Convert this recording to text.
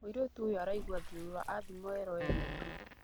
Mũirĩtu ũyo araigua thiũrũra athimwo erwo ena ihu